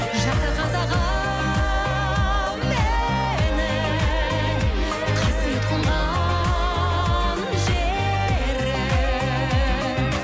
жаса қазағым менің қасиет қонған жерім